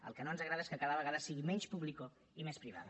el que no ens agrada és que cada vegada sigui menys público i més privada